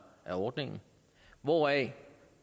af ordningen hvoraf